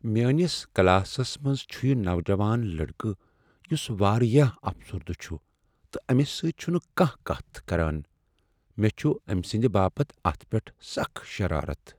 میانِس کلاسس منٛز چھٗ یہ نوجوان لڑکہٕ یٗس واریاہ افسردہ چھٗ تہٕ أمس سۭتۍ چھٗنہٕ کانٛہہ کتھ کران۔ مےٚ چھٗ امۍ سندِ باپت اتھ پیٹھ سخ شرارت۔